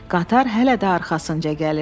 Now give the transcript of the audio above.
Qatar hələ də arxasınca gəlirdi.